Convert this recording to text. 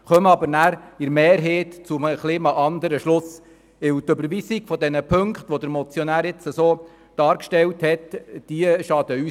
Wir kommen aber mehrheitlich zu einem etwas anderen Schluss, weil die Überweisung der Ziffern, so wie vom Motionär dargestellt, uns nicht schadet.